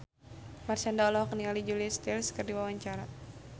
Marshanda olohok ningali Julia Stiles keur diwawancara